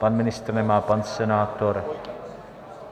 Pan ministr nemá, pan senátor?